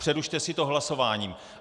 Přerušte si to hlasováním.